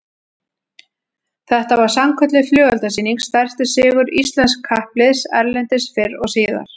Þetta var sannkölluð flugeldasýning, stærsti sigur íslensks kappliðs erlendis fyrr og síðar